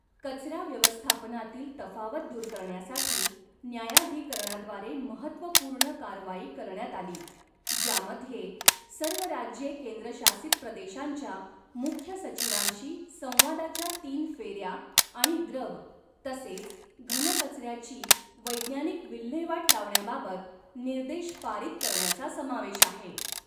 कचरा व्यवस्थापनातील तफावत दूर करण्यासाठी न्यायाधिकरणाद्वारे महत्त्वपूर्ण कारवाई करण्यात आली, ज्यामध्ये सर्व राज्ये केंद्रशासित प्रदेशांच्या मुख्य सचिवांशी संवादाच्या तीन फेऱ्या आणि द्रव तसेच घन कचऱ्याची वैज्ञानिक विल्हेवाट लावण्याबाबत निर्देश पारित करण्याचा समावेश आहे.